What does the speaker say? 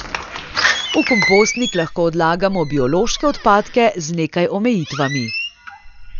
V kompostnik lahko odlagamo biološke odpadke z nekaj omejitvami.